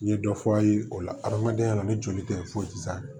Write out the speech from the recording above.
N ye dɔ fɔ a ye o la adamadenya la ni joli tɛ foyi si t'a la